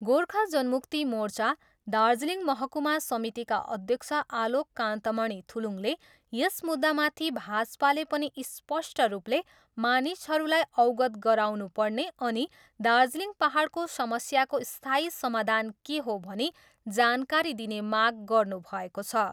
गोर्खा जनमुक्ति मोर्चा, दार्जिलिङ महकुमा समितिका अध्यक्ष आलोक कान्तमणि थुलुङले यस मुद्दामाथि भाजपाले पनि स्पष्ट रूपले मानिसहरूलाई अवगत गराउनुपर्ने अनि दार्जिलिङ पाहाडको समस्याको स्थायी समाधान के हो भनी जानकारी दिने माग गर्नुभएको छ।